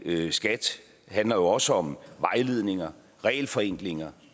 skat handler jo også om vejledninger regelforenklinger